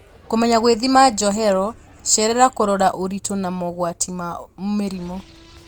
Kũmenya gũithima njohero, cerera kũrora ũritũ na mogwati ma mĩrimũ